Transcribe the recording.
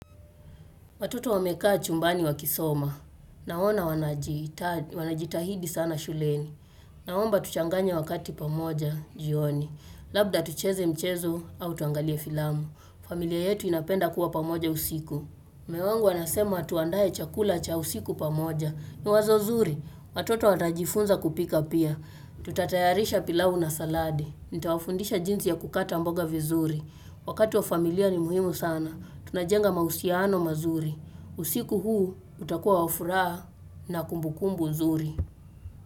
Watoto wamekaa chumbani wa kisoma. Naona wanajitahidi sana shuleni. Naomba tuchanganye wakati pamoja jioni. Labda tucheze mchezo au tuangalie filamu. Familia yetu inapenda kuwa pamoja usiku. Mume wangu anasema tuandae chakula cha usiku pamoja. Ni wazo zuri, watoto watajifunza kupika pia. Tutatayarisha pilau na saladi. Nita wafundisha jinsi ya kukata mboga vizuri. Wakati wa familia ni muhimu sana. Tunajenga mahusiano mazuri. Usiku huu utakuwa wafuraha na kumbukumbu zuri.